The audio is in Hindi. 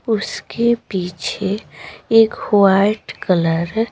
उसके पीछे एक वाइट कलर है।